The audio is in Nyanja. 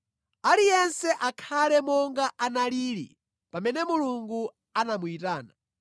Aliyense akhale monga analili pamene Mulungu anamuyitana.